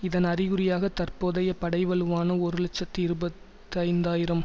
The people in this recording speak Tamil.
இதன் அறிகுறியாக தற்போதைய படை வலுவான ஒரு இலட்சத்தி இருபத்தைந்தாயிரம்